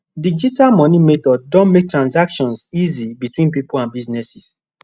digital money method don make transactions easy between people and businesses